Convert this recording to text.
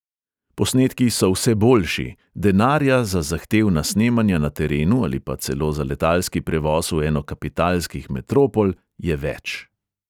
Posnetki so vse boljši, denarja za zahtevna snemanja na terenu ali pa celo za letalski prevoz v eno kapitalskih metropol je več.